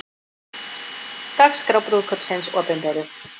Dagskrá brúðkaupsins opinberuð